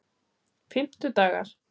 fimmtudagar